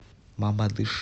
мамадыш